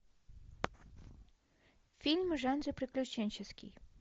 фильм в жанре приключенческий